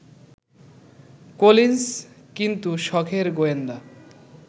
Collins কিন্তু সখের গোয়েন্দা